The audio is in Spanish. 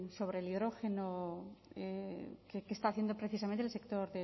sobre el hidrógeno que está haciendo precisamente el sector